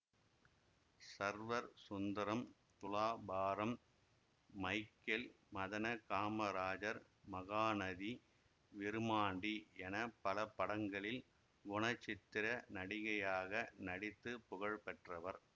server Sundaram Thulabharam Michael Madana Kamarajar Mahanadi Virumandi என பல படங்களில் குணசித்திர நடிகையாக நடித்து புகழ் பெற்றவர்